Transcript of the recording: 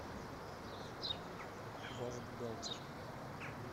ваш бухгалтер